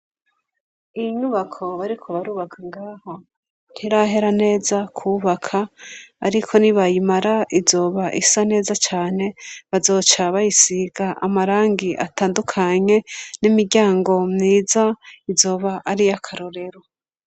Iyinyubako bariko barubaka ngaho ntirahera neza kwubaka, ariko ni bayimara izoba isa neza cane, bazoca bayisiga amarangi atandukanye, n'imiryango mwiza izoba ariyo akarorero.